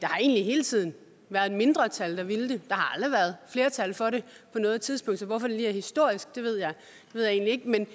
har egentlig hele tiden været et mindretal der ville det der har aldrig været flertal for det så hvorfor det lige er historisk ved jeg ikke men